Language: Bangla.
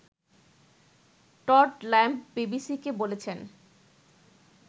টড ল্যাম্ব বিবিসিকে বলেছেন